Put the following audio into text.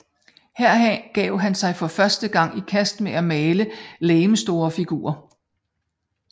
Her gav han sig for første gang i kast med at male legemsstore figurer